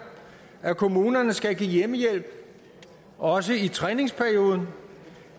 at kommunerne skal give hjemmehjælp også i træningsperioden